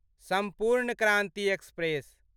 सम्पूर्ण क्रान्ति एक्सप्रेस